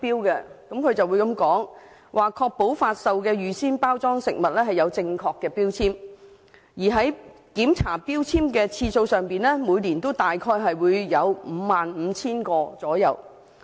署方曾表示會確保發售的預先包裝食物有正確的標籤，而在檢查標籤的次數上，每年大約會有 55,000 個。